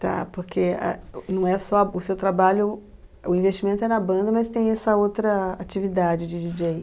Tá, porque, ah, não é só o seu trabalho, o investimento é na banda, mas tem essa outra atividade de DJ.